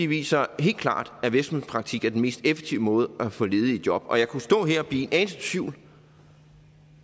viser helt klart at virksomhedspraktik er den mest effektive måde at få ledige i job og jeg kunne stå her og blive en anelse i tvivl